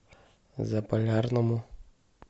заполярному